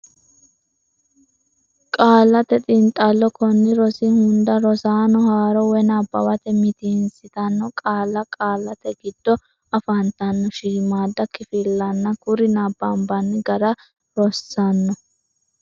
Qaallate Xiinxallo Konni rosi hunda rosaano haaro woy nabbawate mitiinsitanno qaalla, qaallate giddo afantanno shiimmaadda kifillanna kuri nabbanbanni gara rossanno.